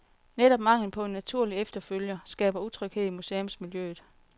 Netop manglen på en naturlig efterfølger skaber utryghed i museumsmiljøet.